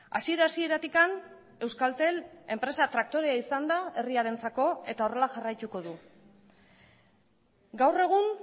hasiera hasieratik euskaltel enpresa traktorea izan da herriarentzako eta horrela jarraituko du gaur egun